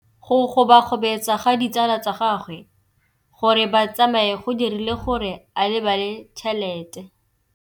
Go gobagobetsa ga ditsala tsa gagwe, gore ba tsamaye go dirile gore a lebale tšhelete.